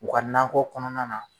U ka nankɔ kɔnɔna na